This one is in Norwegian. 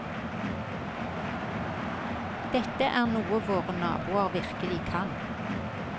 Dette er noe våre naboer virkelig kan.